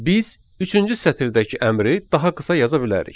Biz üçüncü sətirdəki əmri daha qısa yaza bilərik.